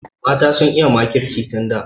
Mata sun iya makirci tun da.